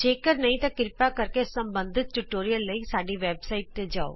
ਜੇ ਕਰ ਨਹੀਂ ਤਾਂ ਕ੍ਰਿਪਾ ਕਰਕੇ ਸਬੰਧਤ ਟਿਯੂਟੋਰਿਅਲ ਲਈ ਸਾਡੀ ਵੈਬਸਾਈਟ ਤੇ ਜਾਉ